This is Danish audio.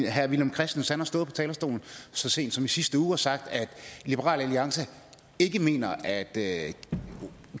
herre villum christensen stået på talerstolen så sent som i sidste uge og sagt at liberal alliance ikke mener at